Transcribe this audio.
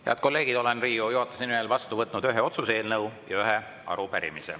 Head kolleegid, olen Riigikogu juhatuse nimel vastu võtnud ühe otsuse eelnõu ja ühe arupärimise.